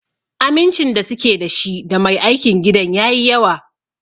Amincin da suke da shi da Mai aikin gidan yayi yawa.